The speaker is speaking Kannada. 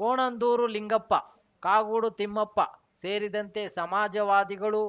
ಕೋಣಂದೂರು ಲಿಂಗಪ್ಪ ಕಾಗೋಡು ತಿಮ್ಮಪ್ಪ ಸೇರಿದಂತೆ ಸಮಾಜವಾದಿಗಳು